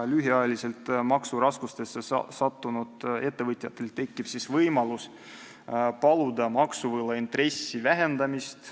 Lühiajaliselt makseraskustesse sattunud ettevõtjatel tekib siis võimalus paluda maksuvõla intressi vähendamist.